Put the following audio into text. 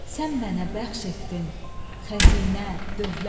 Sən mənə bəxş etdin xəzinə, dövlət.